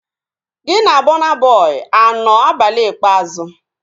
Gị na Bọna Bọi anọ abalị ikpeazụ?